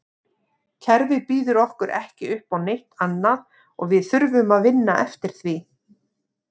Kerfið býður okkur ekki uppá neitt annað og við þurfum að vinna eftir því.